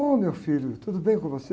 Ô, meu filho, tudo bem com você?